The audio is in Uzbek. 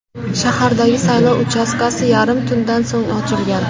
Shahardagi saylov uchastkasi yarim tundan so‘ng ochilgan.